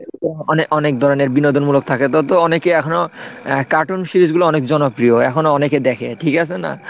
অনেক অনেক ধরনের বিনোদন মূলক থাকে তো অনেকেই এখনো আহ cartoon series গুলো অনেক জনপ্রিয় এখনো অনেকে দেখে ঠিক আছে না?